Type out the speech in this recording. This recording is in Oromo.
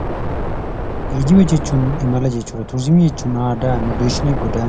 Geejjiba jechuun imala jechuudha. Turizimii jechuun aadaa. Immigireeshinii godaansa.